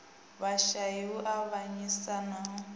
vhashai u avhanyisa na u